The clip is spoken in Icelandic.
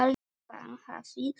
Hann hafði hlegið.